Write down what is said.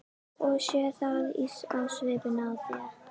Ég sé það á svipnum á þér.